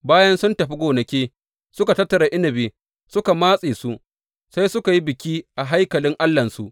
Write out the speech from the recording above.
Bayan sun tafi gonaki suka tattara inabi suka matse su, sai suka yi biki a haikalin allahnsu.